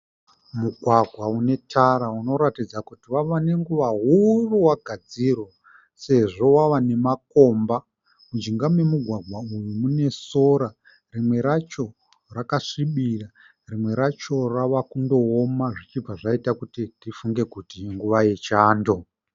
Mugwagwa une tara unoratidza kuti wave nenguva huru wagadzirwa sezvo wave nemakomba. Mujinga nemugwagwa uyu mune sora. Rimwe racho rakasvibira rimwe racho ravakundooma zvichibva zvaita kuti tifunge kuti inguva yechando.